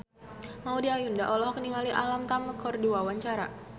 Maudy Ayunda olohok ningali Alam Tam keur diwawancara